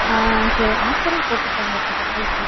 ஆஹ் அஹ் சரி, offer ம் போட்டு இருப்பாங்கல இப்ப பொங்கலுக்கு